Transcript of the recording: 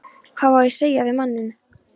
Hvað á ég að segja við manninn?